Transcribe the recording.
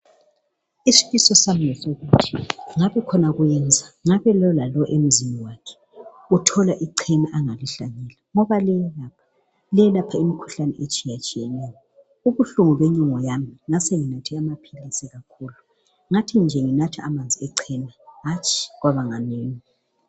Isifiso sami ngesokuthi ngabe khona kuyenza ngabe lowo lalowo emzini wakhe uthola ichena angalihlanyela ngoba liyelapha imikhuhlane etshiyatshiyeneyo Ubuhlungu benyongo yami ngasenginathe amaphilisi kakhulu , ngathi nje nginatha amanzi echena hatshi ngaba nganeno